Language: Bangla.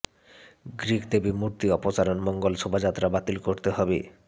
গ্রিক দেবী মূর্তি অপসারণ মঙ্গল শোভাযাত্রা বাতিল করতে হবে